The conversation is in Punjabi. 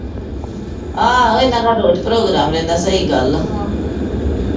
ਆਹੋ ਇਹਨਾਂ ਘਰ ਰੋਜ਼ program ਰਹਿੰਦਾ ਸਹੀ ਗੱਲ ਆ